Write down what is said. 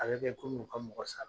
A bɛ kɛ komi u ka mɔgɔ sara.